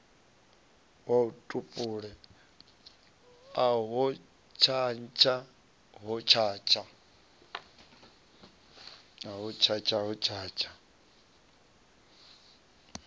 a tupule ahe hotshatsha hotshatsha